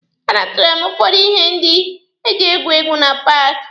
A natara m ụfọdụ ihe ndị eji egwu egwu na paaki.